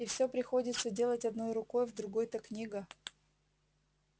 и все приходится делать одной рукой в другой-то книга